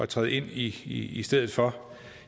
træde ind i i stedet for